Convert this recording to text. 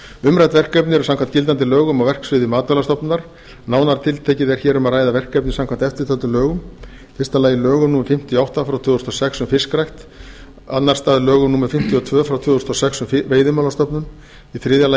umrædd verkefni eru samkvæmt gildandi lögum á verksviði matvælastofnunar nánar tiltekið er hér um að ræða verkefni samkvæmt eftirtöldum lögum fyrstu lögum númer fimmtíu og átta tvö þúsund og sex um fiskrækt öðrum lögum númer fimmtíu og níu tvö þúsund og sex um veiðimálastofnun þriðja